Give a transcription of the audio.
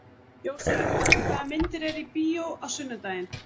Jósef, hvaða myndir eru í bíó á sunnudaginn?